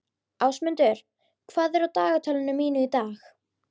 Ásmundur, hvað er á dagatalinu mínu í dag?